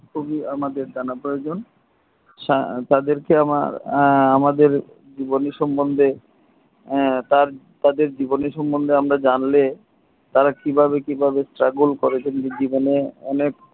খুবই আমাদের জানা প্রয়োজন তাদের কে আমার আমাদের জীবনী সম্বন্ধে তাদের জীবনী সম্বন্ধে আমরা জানলে তারা কিভাবে কিভাবে struggle করে